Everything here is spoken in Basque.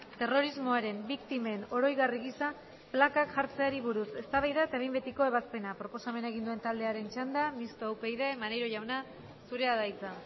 terrorismoaren biktimen oroigarri gisa plakak jartzeari buruz eztabaida eta behin betiko ebazpena proposamena egin duen taldearen txanda mistoa upyd maneiro jauna zurea da hitza